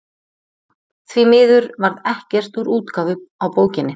Því miður varð ekkert úr útgáfu á bókinni.